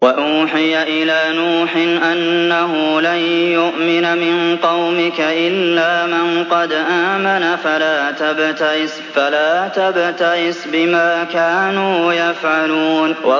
وَأُوحِيَ إِلَىٰ نُوحٍ أَنَّهُ لَن يُؤْمِنَ مِن قَوْمِكَ إِلَّا مَن قَدْ آمَنَ فَلَا تَبْتَئِسْ بِمَا كَانُوا يَفْعَلُونَ